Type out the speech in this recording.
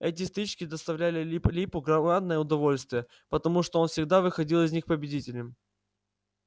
эти стычки доставляли лип липу громадное удовольствие потому что он всегда выходил из них победителем